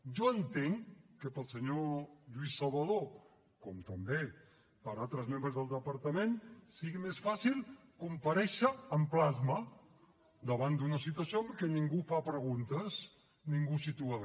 jo entenc que per al senyor lluís salvadó com també per a altres membres del departament sigui més fàcil comparèixer en plasma davant d’una situació en què ningú fa preguntes ningú situa re